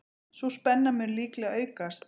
Sú spenna mun líklega aukast.